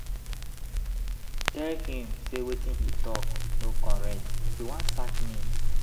I tell him say wetin he talk no correct, he wan sack me.